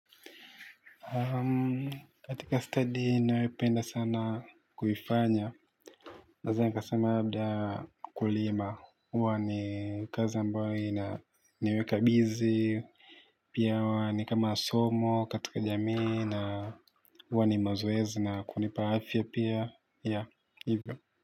Katika study nayopenda sana kuifanya. Naweza kusema labda kulima. Huwa ni kazi ambayo inaniweka bizi. Pia wa ni kama somo katika jamii na huwa ni mazoezi na kunipa afya pia. Ya, hivyo.